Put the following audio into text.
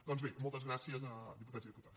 doncs bé moltes gràcies diputats i diputades